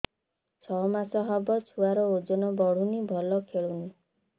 ଛଅ ମାସ ହବ ଛୁଆର ଓଜନ ବଢୁନି ଭଲ ଖେଳୁନି